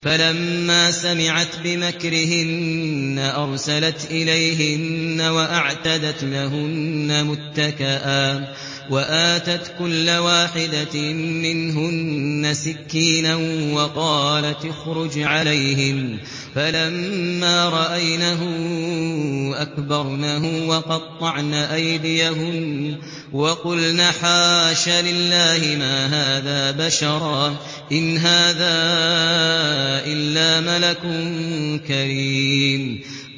فَلَمَّا سَمِعَتْ بِمَكْرِهِنَّ أَرْسَلَتْ إِلَيْهِنَّ وَأَعْتَدَتْ لَهُنَّ مُتَّكَأً وَآتَتْ كُلَّ وَاحِدَةٍ مِّنْهُنَّ سِكِّينًا وَقَالَتِ اخْرُجْ عَلَيْهِنَّ ۖ فَلَمَّا رَأَيْنَهُ أَكْبَرْنَهُ وَقَطَّعْنَ أَيْدِيَهُنَّ وَقُلْنَ حَاشَ لِلَّهِ مَا هَٰذَا بَشَرًا إِنْ هَٰذَا إِلَّا مَلَكٌ كَرِيمٌ